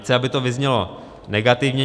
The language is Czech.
Nechci, aby to vyznělo negativně.